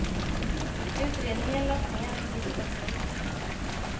Utredningen lades ner i brist på bevis.